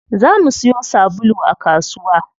Za mu siyo sabulu a kasuwa.